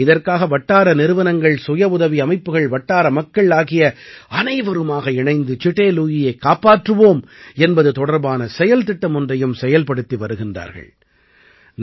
இதற்காக வட்டார நிறுவனங்கள் சுயவுதவி அமைப்புகள் வட்டார மக்கள் ஆகிய அனைவருமாக இணைந்து சிடே லுயியைக் காப்பாற்றுவோம் என்பது தொடர்பான செயல் திட்டம் ஒன்றையும் செயல்படுத்தி வருகிறார்கள்